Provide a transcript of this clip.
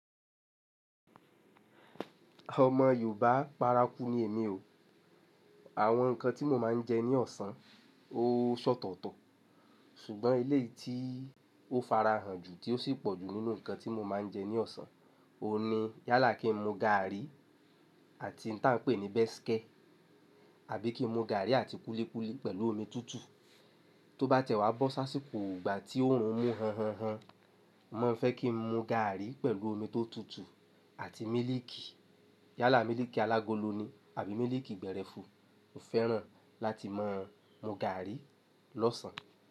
Ọmọ Yorùbá, para kú ni èmi o. Àwọn nǹkan tí mo máa ń jẹ ní ọ̀sán, ó sọ́tọ̀tọ̀. Ṣùgbọ́n ele tí ó farahàn jù tí ó sì pọ̀ jù nínú nǹkan tí mo máa ń jẹ ní ọ̀sán, o ní yálà kí n mu gàárì àti ǹtá n pè ní béske àbí kí n mu gàárì àti kúlíkúlí pẹ̀lú omi tútù. Tó bá tẹ́wá bọ́ sáṣìkò ìgbà tí òòrùn mú họ́nhọ́nhán, mo fẹ́ kí n mu gàárì pẹ̀lú omi tó tutù àti mílíìkì. Yálà mílíìkì alágolo ni àbí mílíìkì gbẹ̀rẹfu. Mo fẹ́ràn láti máa mu gàárì lọ́sàn-án.